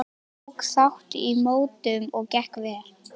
Ég tók þátt í mótum og gekk vel.